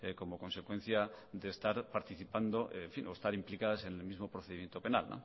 como consecuencia de estar participando o estar implicadas en el mismo procedimiento penal